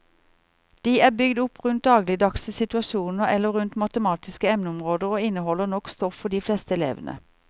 De er bygd opp rundt dagligdagse situasjoner eller rundt matematiske emneområder og inneholder nok stoff for de fleste elevene.